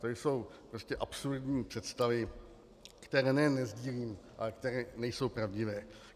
To jsou prostě absurdní představy, které nejen nesdílím, ale které nejsou pravdivé.